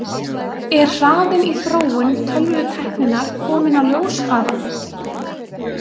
Er hraðinn í þróun tölvutækninnar kominn á ljóshraða?